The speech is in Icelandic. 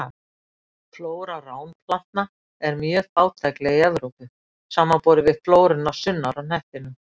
Flóra ránplantna er mjög fátækleg í Evrópu, samanborið við flóruna sunnar á hnettinum.